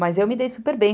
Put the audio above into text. Mas eu me dei super bem.